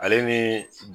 Ale ni